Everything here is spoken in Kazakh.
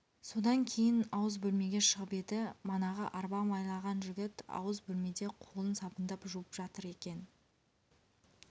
содан кейін ауыз бөлмеге шығып еді манағы арба майлаған жігіт ауыз бөлмеде қолын сабындап жуып жатыр екен